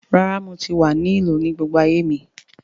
Rára, mo tí wa ni ìlú ní gbogbo ayé mi